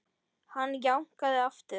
Hann jánkaði aftur.